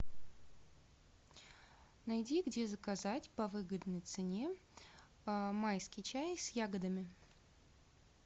найди где заказать по выгодной цене майский чай с ягодами